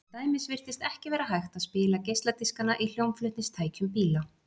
Til dæmis virtist ekki vera hægt að spila geisladiskana í hljómflutningstækjum bíla.